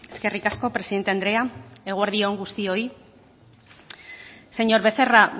eskerrik asko presidente andrea eguerdi on guztioi señor becerra